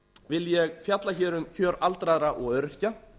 vil ég fjalla hér um kjör aldraðra og öryrkja